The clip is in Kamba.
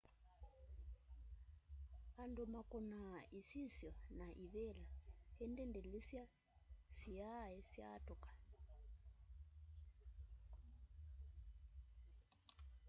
andu makunaa isisyo sya na ivila indi ndilisya siai syatuka